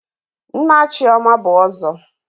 Nna Chioma bụ ọzọ.